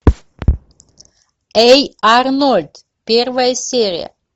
эй арнольд первая серия